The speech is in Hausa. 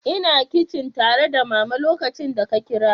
Ina kicin tare da Mama lokacin da ka kira.